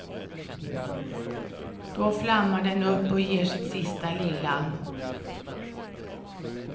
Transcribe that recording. Då flammar den upp och ger sitt sista lilla.